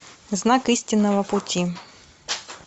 знак истинного пути